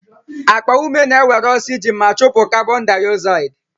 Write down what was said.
Akpa ume na-ewere oxygen ma chụpụ carbondioxide